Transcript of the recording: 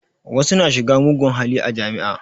Wasu na shiga mugun hali a jami'a